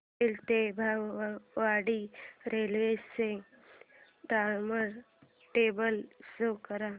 पनवेल ते वैभववाडी रेल्वे चे time table show करा